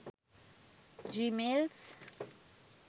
gmails